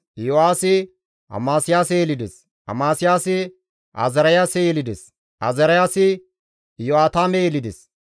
Iyo7aasi Amasiyaase yelides; Amasiyaasi Azaariyaase yelides; Azaariyaasi Iyo7aatame yelides;